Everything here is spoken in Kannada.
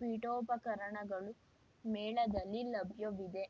ಪೀಠೋಪಕರಣಗಳು ಮೇಳದಲ್ಲಿ ಲಭ್ಯವಿವೆ